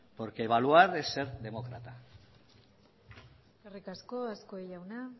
porque evaluar es ser demócrata eskerrik asko azkue jauna